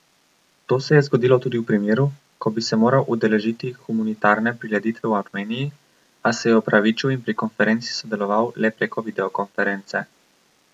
To se je zgodilo tudi v primeru, ko bi se moral udeležiti humanitarne prireditve v Armeniji, a se je opravičil in pri konferenci sodeloval le preko videokonference.